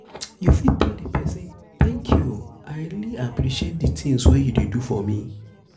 you fit tell di person "thank you i really appreciate di things wey you do for me"